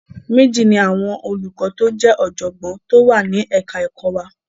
Méjì ni àwọn olùkọ́ tó ọ̀jọ̀gbọ́n tó wà ni ẹ̀ka ẹ̀kọ wa.